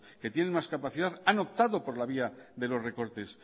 que tienen más capacidad han optado por la vía de los recortes